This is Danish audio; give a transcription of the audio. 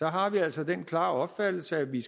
har vi altså den klare opfattelse at vi